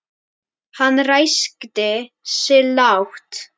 Hann ræskti sig lágt.